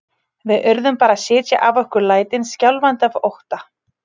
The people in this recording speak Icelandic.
Við urðum bara að sitja af okkur lætin skjálfandi af ótta.